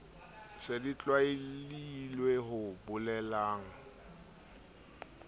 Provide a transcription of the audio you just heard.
se di tshwailwe ho bolelang